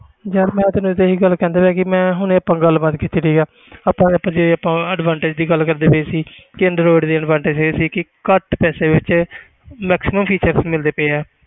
ਯਾਰ ਮੈਂ ਤੈਨੂੰ ਤਾਂ ਇਹ ਹੀ ਗੱਲ ਕਹਿੰਦਾ ਸੀ ਕਿ ਮੈਂ ਹੁਣੇ ਆਪਾਂ ਗੱਲਬਾਤ ਕੀਤੀ ਆ ਆਪਾਂ ਜੇ ਆਪਾਂ advantage ਦੀ ਗੱਲ ਕਰਦੇ ਪਏ ਸੀ ਕਿ android ਦੀ advantage ਇਹ ਸੀ ਕਿ ਘੱਟ ਪੈਸੇ ਵਿੱਚ maximum features ਮਿਲਦੇ ਪਏ ਆ,